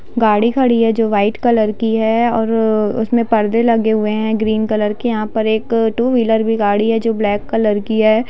गाड़ी खड़ी है जो व्हाइट कलर की है और अ उसमे परदे लगे हुए हैग्रीन कलर के यहा पर एक टू व्हीलर भी गाड़ी है जो ब्लैक कलर की है।